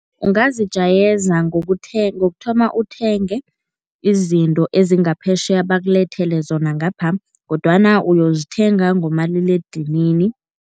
Ungazijayeza ngokuthoma uthenge izinto ezingaphetjheya bakulethele zona ngapha kodwana uyozithenga ngomaliledinini.